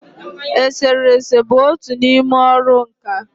Esere ese bụ otu n'ime ọrụ nkà.